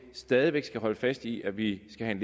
stadig væk skal holde fast i at vi skal have